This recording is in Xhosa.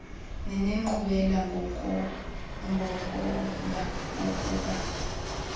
nenenkqubela ngokomba wokuba